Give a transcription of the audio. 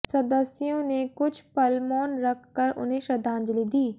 सदस्यों ने कुछ पल मौन रख कर उन्हें श्रद्धांजलि दी